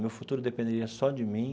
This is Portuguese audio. Meu futuro dependeria só de mim.